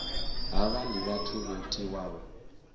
havha ndi vhathu vho tiwaho